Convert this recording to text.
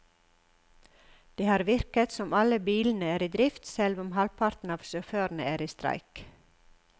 Det har virket som om alle bilene er i drift selv om halvparten av sjåførene er i streik.